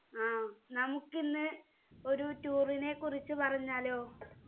ആ നമുക്കിന്ന് ഒരു tour നെ കുറിച്ച് പറഞ്ഞാലോ